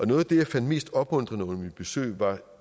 noget af det jeg fandt mest opmuntrende under mit besøg var